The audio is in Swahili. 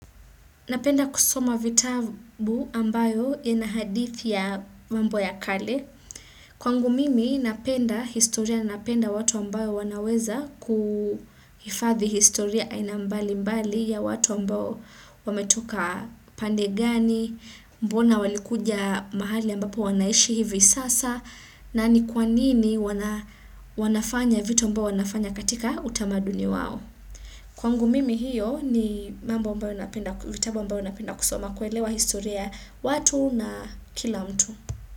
Napenda kusoma vitabu ambayo ina hadithi ya mambo ya kale. Kwangu mimi napenda historia na napenda watu ambayo wanaweza kuhifadhi historia aina mbali mbali ya watu ambao wame toka pande gani, mbona walikuja mahali ambapo wanaishi hivi sasa, na ni kwa nini wanafanya vitu ambayo wanafanya katika utamaduni wao. Kwangu mimi hiyo ni mambo ambayo napenda vitabu ambayo napenda kusoma kuelewa historia watu na kila mtu.